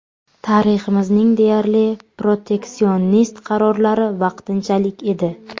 Tariximizning deyarli proteksionist qarorlari ‘vaqtinchalik’ edi.